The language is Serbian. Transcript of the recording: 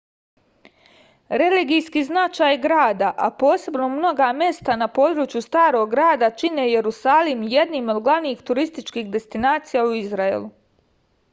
religijski značaj grada a posebno mnoga mesta na području starog grada čine jerusalim jednim od glavnih turističkih destinacija u izraelu